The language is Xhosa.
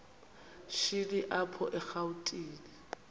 shini apho erawutini